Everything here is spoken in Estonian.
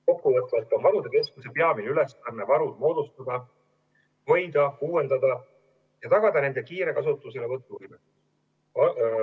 Kokkuvõtvalt on varude keskuse peamine ülesanne varud moodustada, neid hoida, uuendada ja tagada nende kiire kasutuselevõtt.